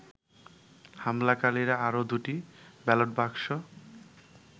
হামলাকারীরা আরো দুটি ব্যালট বাক্স